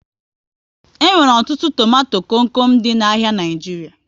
E nwere ọtụtụ tomato kom kom dị n'ahia Naijiria